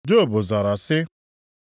Job zara sị: